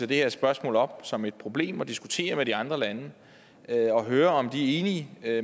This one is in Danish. det her spørgsmål op som et problem og diskutere det med de andre lande og høre om de er